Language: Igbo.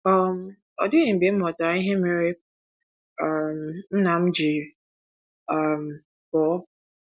um “ Ọ dịghị mgbe m ghọtara ihe mere um nna m ji um pụọ.